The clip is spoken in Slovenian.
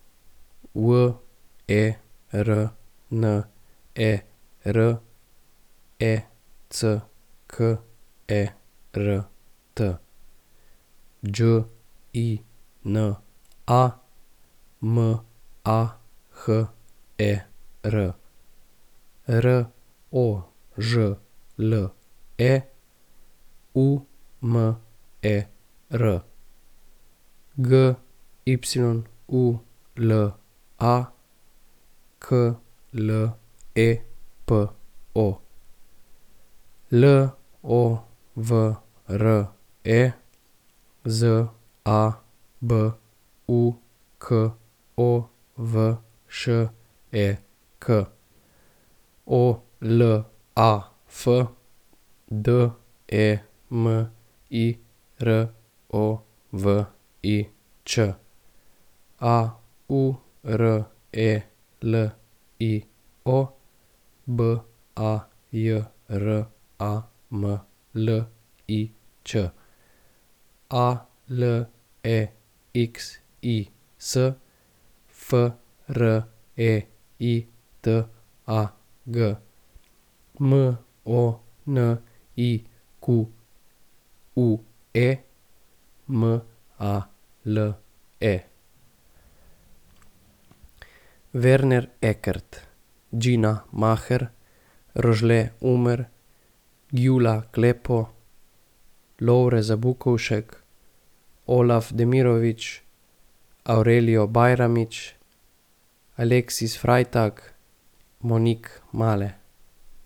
Werner Eckert, Đina Maher, Rožle Umer, Gyula Klepo, Lovre Zabukovšek, Olaf Demirovič, Aurelio Bajramlić, Alexis Freitag, Monique Male.